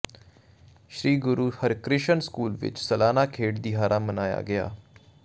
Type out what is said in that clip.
ਸ੍ਰੀ Guru Harkrishan school ਵਿਚ ਸਲਾਨਾ ਖੇਡ ਦਿਹਾੜਾ ਮਨਾਇਆ ਗਿਆ